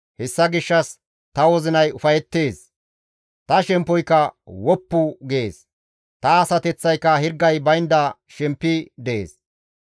Hessa gishshas ta wozinay ufayettees; ta shemppoyka woppu gees; ta asateththayka hirgay baynda shempi dees.